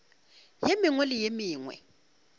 ye mengwe le ye mengwe